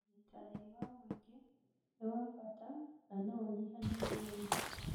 ũnyitanĩri wa mũingĩ nĩ wa bata na no unyihanyihie ũici